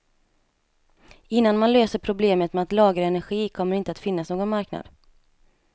Innan man löser problemet med att lagra energi kommer det inte att finnas någon marknad.